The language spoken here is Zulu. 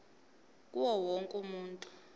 kuwo wonke umuntu